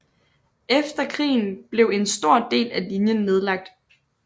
Efter krigen blev en stor del af linjen nedlagt